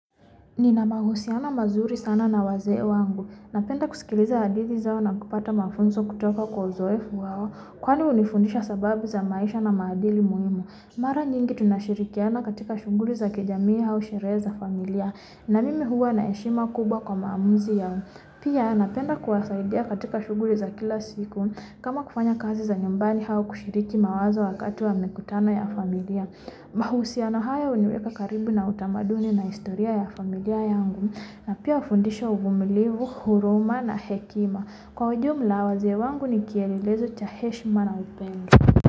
Nina mahusiana mazuri sana na waze wangu, napenda kuskiliza hathidi zao na kupata mafunzo kutoka kwa uzoefu wao Kwani unifundisha sababu za maisha na maadili muhimu, Mara nyingi tunashirikiana katika shugulu za kijamia hau shirehe familia na mimi huwa na heshima kubwa kwa maamuzi yangu Pia napenda kuwa saidi ya katika shugulu za kila siku kama kufanya kazi za nyumbani au kushiriki mawazo wakatu wa mikutano ya familia Mahusiana hayo uniweka karibu na utamaduni na historia ya familia yangu Napia unifundisha uvumili wuhuruma na hekima Kwa ujumu la wazee wangu nikielelezo cha heshima na upendo.